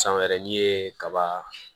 San wɛrɛ n'i ye kaba